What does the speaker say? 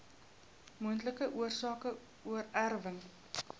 moontlike oorsake oorerwing